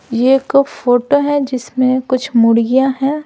यह एक फोटो है जिसमें कुछ मुड़गियां हैं।